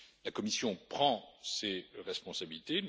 La Commission prend ses responsabilités.